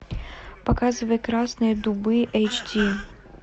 показывай красные дубы эйч ди